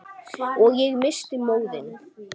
Og ég missti móðinn.